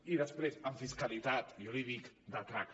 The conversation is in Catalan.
i després en fiscalitat jo l’hi dic de traca